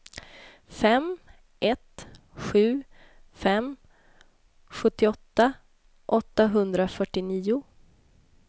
fem ett sju fem sjuttioåtta åttahundrafyrtionio